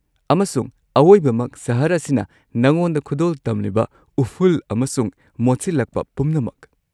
ꯑꯃꯁꯨꯡ ꯑꯋꯣꯏꯕꯃꯛ, ꯁꯍꯔ ꯑꯁꯤꯅ ꯅꯉꯣꯟꯗ ꯈꯨꯗꯣꯜ ꯇꯝꯂꯤꯕ ꯎꯐꯨꯜ ꯑꯃꯁꯨꯡ ꯃꯣꯠꯁꯤꯜꯂꯛꯄ ꯄꯨꯝꯅꯃꯛ꯫